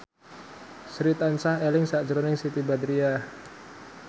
Sri tansah eling sakjroning Siti Badriah